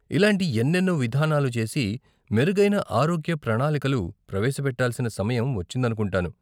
ఇలాంటి ఎన్నెన్నో విధానాలు చేసి, మెరుగైన ఆరోగ్య ప్రణాలికలు ప్రవేశపెట్టాల్సిన సమయం వచ్చిందనుకుంటాను.